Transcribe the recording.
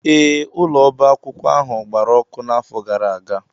ee, ụlọ ọba akwụkwọ ahụ gbara ọkụ n'afọ gara aga